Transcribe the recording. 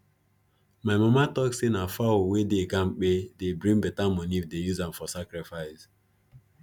my mama tok say na fowl wey dey kampe dey bring beta money if them use am for sacrifice